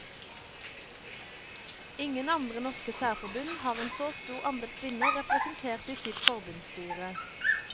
Ingen andre norske særforbund har en så stor andel kvinner representert i sitt forbundsstyret.